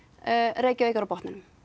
Reykjavík er á botninum